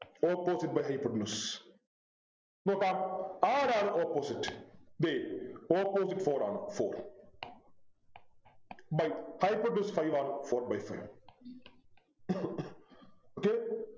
Opposite by hypotenuse നോക്കാം ആരാണ് Opposite ദേ Opposite four ആണ് four by hypotenuse five ആണ് four by five okay